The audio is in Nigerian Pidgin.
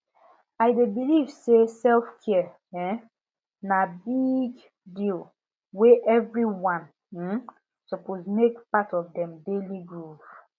i dey reason say selfcare um na big deal wey everyone um suppose make part of dem daily groove